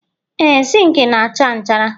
Ee, zinc na-acha nchara